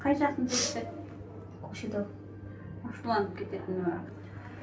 қай жақтың жігіті көкшетау ашуланып кететіні бар